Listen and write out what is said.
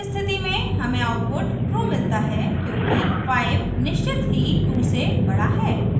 इस स्थिति में हमें आउटपुट true मिलता है क्योंकि 5 निश्चित ही 2 से बड़ा है